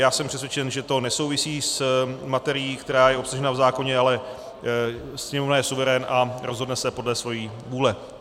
Já jsem přesvědčen, že to nesouvisí s materií, která je obsažena v zákoně, ale Sněmovna je suverén a rozhodne se podle svojí vůle.